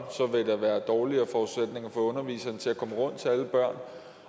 vil der være dårligere forudsætninger for underviseren til at komme rundt til alle børnene